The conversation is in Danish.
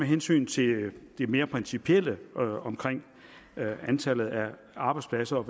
hensyn til det mere principielle om antallet af arbejdspladser og